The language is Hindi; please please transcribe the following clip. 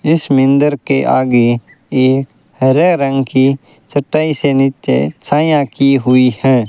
इस मंदिर के आगे ये हरे रंग की चटाई से नीचे छैया की हुई है।